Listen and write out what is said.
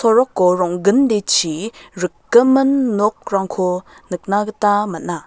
soroko rong·gindechi rikgimin nokrangko nikna gita man·a.